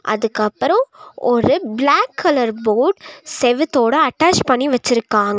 அதுக்கப்புறோ ஒரு black colour board செவுத்தோட அட்டாச் பண்ணி வெச்சிருக்காங்.